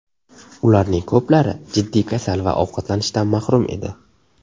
Ularning ko‘plari jiddiy kasal va ovqatlanishdan mahrum edi.